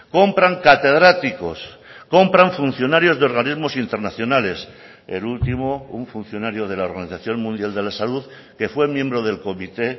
compran catedráticos compran funcionarios de organismos internacionales el último un funcionario de la organización mundial de la salud que fue miembro del comité